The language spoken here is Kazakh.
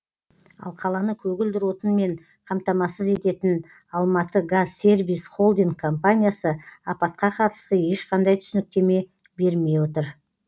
ал қаланы көгілдір отынмен қамтамасыз ететін алматыгазсервис холдинг компаниясы апатқа қатысты ешқандай түсініктеме бермей отыр